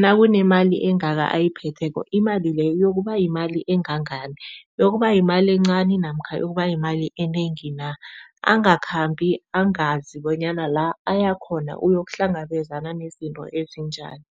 nakunemali engaka ayiphetheko, imali leyo iyokuba yimali engangani, iyokuba yimali encani namkha iyokuba yimali enengi na. Angakhambi angazi bonyana la ayakhona uyokuhlangabezana nezinto ezinjani.